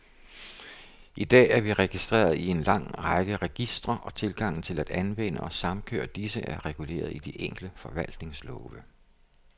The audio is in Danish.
I dag er vi registreret i en lang række registre, og tilgangen til at anvende og samkøre disse, er reguleret i de enkelte forvaltningslove.